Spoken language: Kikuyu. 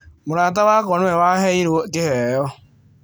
Mũrata wakwa nĩwe waheirũo kĩheo.